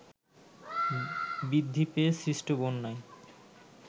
বৃদ্ধি পেয়ে সৃষ্ট বন্যায়